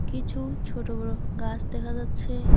কিছু ছোট বড় গাস দেখা যাচ্ছে।